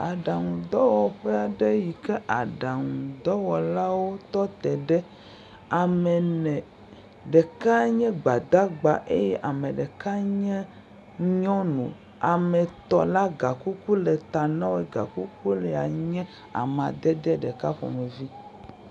Aɖaŋudɔwɔƒe aɖe yi ke aɖaŋudɔwɔlawo tɔte ɖe. Ame ne, ɖeka nye Gbadagba eye ame ɖeka nye nyɔnu. Ame tɔ̃ la gakuku le ta na wo eye gakukulae nye amadede ɖeka ƒomevi.